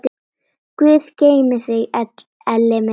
Guð geymi þig, Elli minn.